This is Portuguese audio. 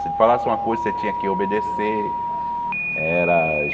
Se ele falasse alguma coisa, você tinha que obedecer. Era